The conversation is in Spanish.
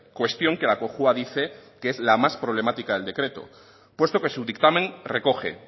cuestión que la cojua dice que es la más problemática del decreto puesto que su dictamen recoge